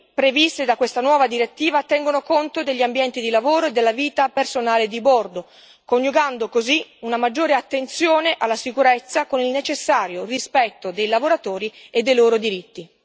previste da questa nuova direttiva tengono conto degli ambienti di lavoro e della vita personale di bordo, coniugando così una maggiore attenzione alla sicurezza con il necessario rispetto dei lavoratori e dei loro diritti.